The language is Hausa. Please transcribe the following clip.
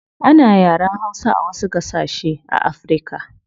Ana yaren hausa a wasu gasashe a africa